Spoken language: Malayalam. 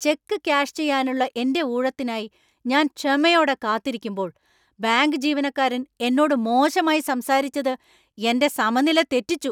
ചെക്ക് ക്യാഷ് ചെയ്യാനുള്ള എന്‍റെ ഊഴത്തിനായി ഞാൻ ക്ഷമയോടെ കാത്തിരിക്കുമ്പോൾ ബാങ്ക് ജീവനക്കാരൻ എന്നോട് മോശമായി സംസാരിച്ചത് എന്‍റെ സമനില തെറ്റിച്ചു.